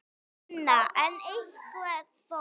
Sunna: En einhver þó?